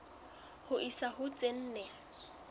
ho isa ho tse nne